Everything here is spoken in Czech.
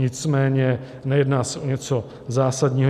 Nicméně nejedná se o něco zásadního.